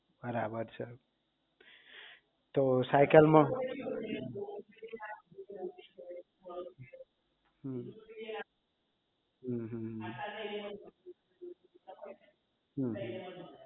બરાબર છે તો સાયકલ માં હમ અમ હમ